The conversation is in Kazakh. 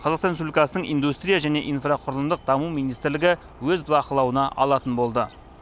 қазақстан республикасының индустрия және инфроқұрылымдық даму министрлігі өз бақылауына алатын болды